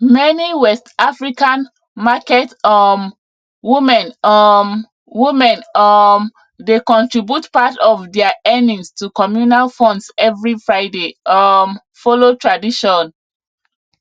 meni west african market um women um women um dey contribute part of dia earnings to communal funds every friday um follow tradition